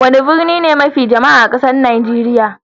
Wani birni ne mafi jama'a a kasan Nijeriya?